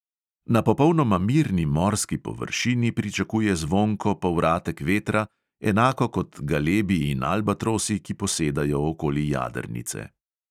Na popolnoma mirni morski površini pričakuje zvonko povratek vetra, enako kot galebi in albatrosi, ki posedajo okoli jadrnice.